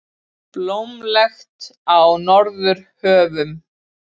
Blómlegt í Norðurhöfum